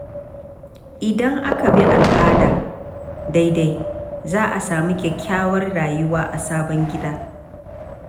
Idan aka bi al’ada daidai, za a sami kyakkyawar rayuwa a sabon gida.